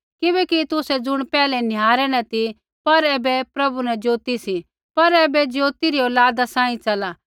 किबैकि तुसै ज़ुण पैहलै निहारै न ती पर ऐबै प्रभु न ज्योति सी होर ऐबै ज्योति री औलादा सांही चला